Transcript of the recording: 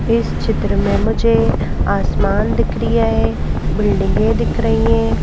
इस चित्र में मुझे आसमान दिख रही है बिल्डिंगें दिख रही हैं।